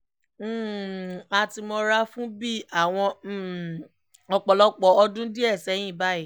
um a ti mọ̀ra fún bíi àwọn um ọ̀pọ̀lọpọ̀ ọdún díẹ̀ sẹ́yìn báyìí